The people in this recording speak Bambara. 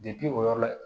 o yɔrɔ la